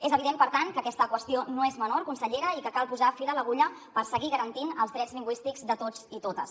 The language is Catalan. és evident per tant que aquesta qüestió no és menor consellera i que cal posar fil a l’agulla per seguir garantint els drets lingüístics de tots i totes